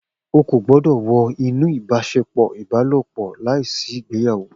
O ko gbọdọ wọ inú ibaṣepọ Ibalopọ láìsí ìgbéyàwó